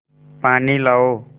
पानी लाओ